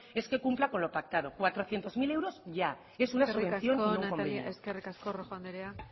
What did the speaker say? es que cumpla con lo pactado cuatrocientos mil euros ya es una eskerrik asko rojo andrea